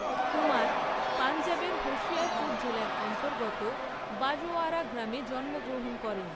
কুমার পঞ্জাবের হোশিয়ারপুর জেলার অন্তর্গত বাজওয়ারা গ্রামে জন্মগ্রহণ করেন।